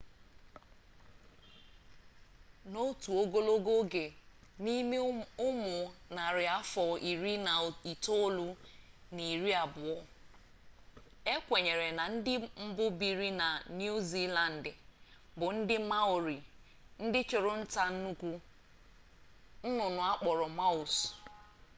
n'otu ogologo oge n'ime ụmụ narị afọ iri na itoolu na iri abụọ e kwenyere na ndị mbụ biiri na niu ziilandị bụ ndị maori ndị chụrụ nta nnukwu nnụnnụ a kpọrọ moas